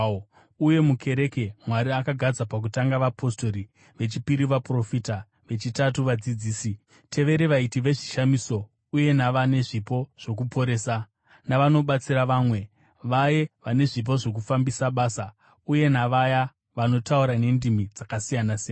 Uye mukereke, Mwari akagadza pakutanga vapostori, vechipiri vaprofita, vechitatu vadzidzisi, tevere vaiti vezvishamiso, uye navane zvipo zvokuporesa, navanobatsira vamwe, vaya vane zvipo zvokufambisa basa, uye navaya vanotaura nendimi dzakasiyana-siyana.